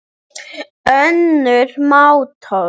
önnur manntöl